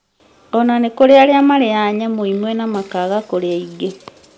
ona nĩkũrĩ arĩa marĩyaga nyamũ imwe na makaaga kũrĩa ingĩ